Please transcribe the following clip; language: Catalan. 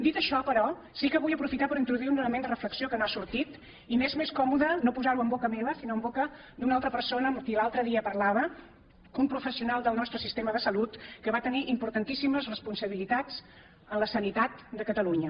dit això però sí que vull aprofitar per introduir un element de reflexió que no ha sortit i m’és més còmode no posar ho en boca meva sinó en boca d’una altra persona amb qui l’altre dia parlava un professional del nostre sistema de salut que va tenir importantíssimes responsabilitats en la sanitat de catalunya